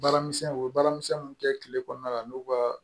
Baaramisɛn u bɛ baaramisɛnninw kɛ kile kɔnɔna la n'u ka